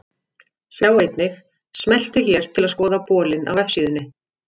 Sjá einnig: Smelltu hér til að skoða bolinn á vefsíðunni.